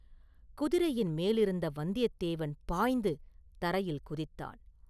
குதிரையின் மேலிருந்த வந்தியத்தேவன் பாய்ந்து தரையில் குதித்தான்.